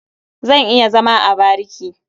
Zan iya zama a bariki.